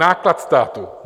Náklad státu.